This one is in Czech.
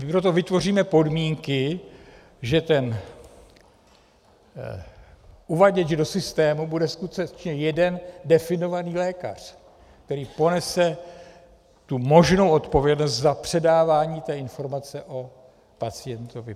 My pro to vytvoříme podmínky, že ten uvaděč do systému bude skutečně jeden definovaný lékař, který ponese možnou odpovědnost za předávání té informace o pacientovi.